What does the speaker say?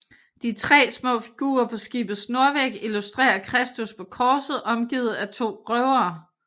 De tre små figurer på skibets nordvæg illustrerer Kristus på korset omgivet af to røvere